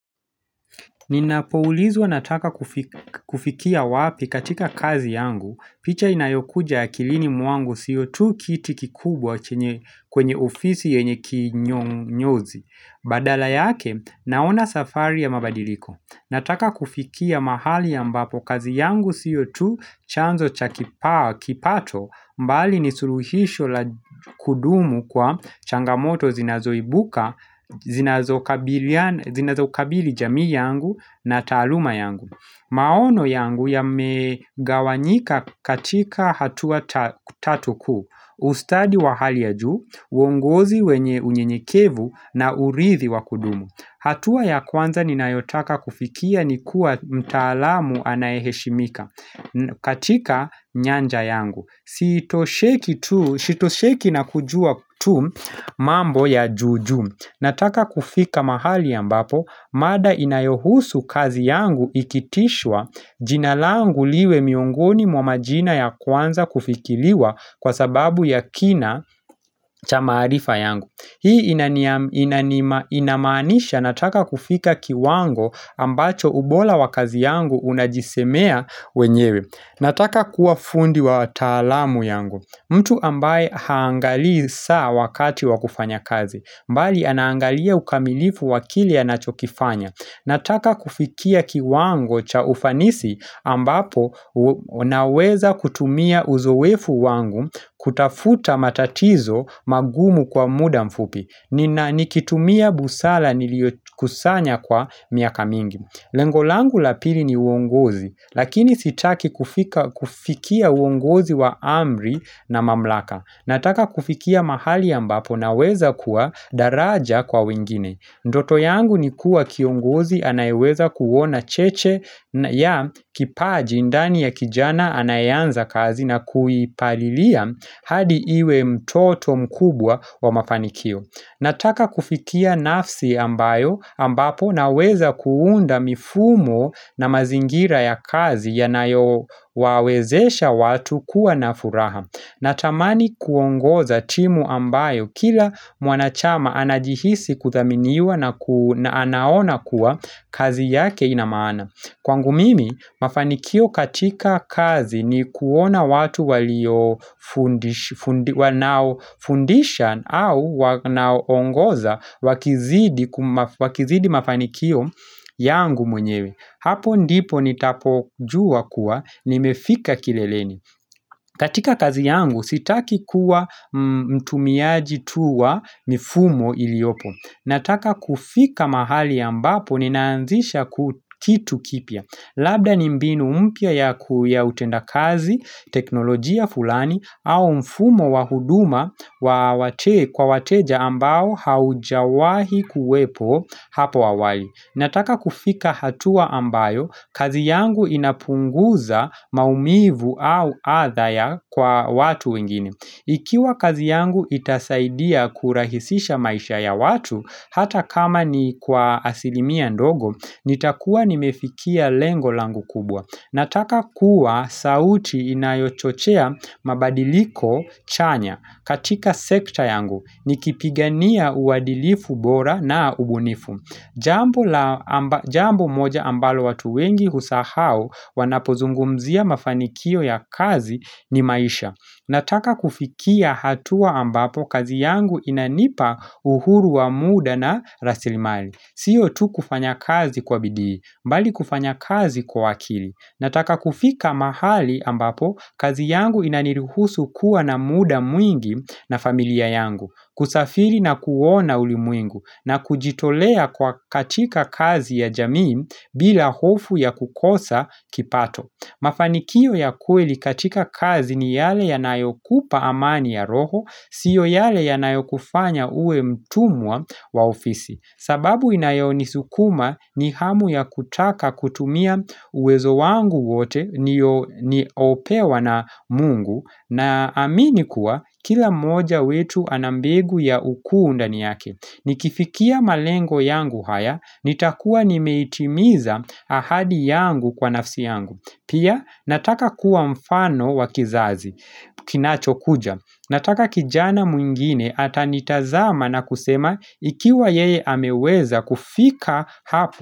Ninapoulizwa nataka kufikia wapi katika kazi yangu. Picha inayokuja akilini mwangu sio tu kiti kikubwa kwenye ofisi yenye kinyonyozi. Badala yake naona safari ya mabadiliko. Nataka kufikia mahali ambapo kazi yangu siyo tu chanzo cha kipato mbali ni suruhisho la kudumu kwa changamoto zinazoibuka, zinazokabili jamii yangu na taaluma yangu. Maono yangu yamegawanyika katika hatua tatu kuu, ustadi wa hali ya juu, uongozi wenye unyenyekevu na urithi wa kudumu. Hatua ya kwanza ninayotaka kufikia ni kuwa mtaalamu anayeheshimika katika nyanja yangu. Sitosheki na kujua tu mambo ya juu juu Nataka kufika mahali ambapo mada inayohusu kazi yangu ikitishwa jina langu liwe miongoni mwa majina ya kwanza kufikiliwa Kwa sababu ya kina cha maarifa yangu Hii inamaanisha nataka kufika kiwango ambacho ubola wa kazi yangu unajisemea wenyewe Nataka kuwa fundi wa taalamu yangu. Mtu ambaye haangalii saa wakati wa kufanya kazi. Mbali anaangalia ukamilifu wa akili anachokifanya. Nataka kufikia kiwango cha ufanisi ambapo unaweza kutumia uzoefu wangu kutafuta matatizo magumu kwa muda mfupi. Nikitumia busala niliokusanya kwa miaka mingi. Lengo langu lapili ni uongozi, lakini sitaki kufikia uongozi wa amri na mamlaka. Nataka kufikia mahali ambapo naweza kuwa daraja kwa wengine. Ndoto yangu ni kuwa kiongozi anayeweza kuona cheche ya kipaji ndani ya kijana anayeanza kazi na kuipalilia hadi iwe mtoto mkubwa wa mafanikio. Nataka kufikia nafsi ambayo ambapo naweza kuunda mifumo na mazingira ya kazi yanayowawezesha watu kuwa na furaha. Natamani kuongoza timu ambayo kila mwanachama anajihisi kuthaminiwa na anaona kuwa kazi yake ina maana. Kwangu mimi, mafanikio katika kazi ni kuona watu wanaofundisha au wanaoongoza wakizidi mafanikio yangu mwenyewe. Hapo ndipo nitapojua kuwa nimefika kileleni. Katika kazi yangu sitaki kuwa mtumiaji tu wa mifumo iliopo. Nataka kufika mahali ambapo ninaanzisha kitu kipya Labda ni mbinu mpya ya utendakazi, teknolojia fulani au mfumo wa huduma kwa wateja ambao haujawahi kuwepo hapo awali Nataka kufika hatua ambayo, kazi yangu inapunguza maumivu au atha ya kwa watu wengine Ikiwa kazi yangu itasaidia kurahisisha maisha ya watu, hata kama ni kwa asilimia ndogo, nitakuwa nimefikia lengo langu kubwa. Nataka kuwa sauti inayochochea mabadiliko chanya katika sekta yangu, nikipigania uadilifu bora na ubunifu. Jambo moja ambalo watu wengi husahau wanapozungumzia mafanikio ya kazi ni maisha. Nataka kufikia hatua ambapo kazi yangu inanipa uhuru wa muda na rasilimali. Siyo tu kufanya kazi kwa bidii, mbali kufanya kazi kwa akili. Nataka kufika mahali ambapo kazi yangu inaniruhusu kuwa na muda mwingi na familia yangu. Kusafiri na kuona ulimwengu na kujitolea kwa katika kazi ya jamii bila hofu ya kukosa kipato. Mafanikio ya kweli katika kazi ni yale yanayokupa amani ya roho, siyo yale yanayokufanya uwe mtumwa wa ofisi. Sababu inayonisukuma ni hamu ya kutaka kutumia uwezo wangu wote nilopewa na mungu naamini kuwa kila mmoja wetu ana mbegu ya ukuu ndani yake. Nikifikia malengo yangu haya, nitakua nimeitimiza ahadi yangu kwa nafsi yangu. Pia nataka kuwa mfano wa kizazi kinachokuja. Nataka kijana mwengine atanitazama na kusema ikiwa yeye ameweza kufika hapo.